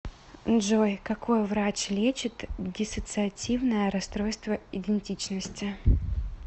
джой какой врач лечит диссоциативное расстройство идентичности